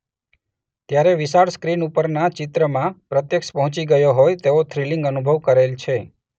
ત્યારે વિશાળ સ્ક્રીન ઉપરના ચિત્રમાં પ્રત્યક્ષ પહોંચી ગયો હોય તેવો થ્રીલીંગ અનુભવ કરેલ છે.